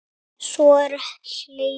Og svo er hlegið.